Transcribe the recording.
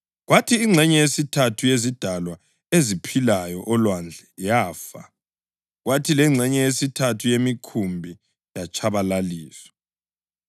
kwathi ingxenye yesithathu yezidalwa eziphilayo olwandle yafa, kwathi lengxenye yesithathu yemikhumbi yatshabalaliswa.